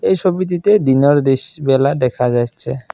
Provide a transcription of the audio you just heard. এই ছবিটিতে দিনের দিশ বেলা দেখা যাইচ্ছে।